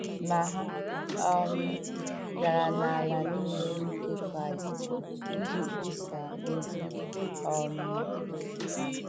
Ma ha um gara n’ala nile n’ike Kraịst iji kwusaa ozi um ha. ”